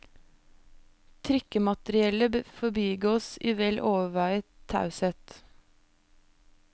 Trikkemateriellet forbigås i vel overveiet taushet.